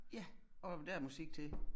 Ja og der musik til